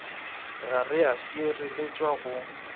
ga re a šireletšega go